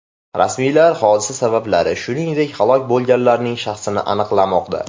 Rasmiylar hodisa sabablari, shuningdek, halok bo‘lganlarning shaxsini aniqlamoqda.